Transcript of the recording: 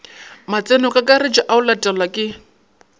matsenokakaretšo a go latelwa ke